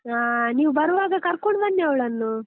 ಆ ನೀವು ಬರುವಾಗ ಕರ್ಕೊಂಡ್ ಬನ್ನಿ ಅವಳನ್ನು.